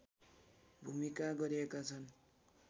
भूमिका गरेका छन्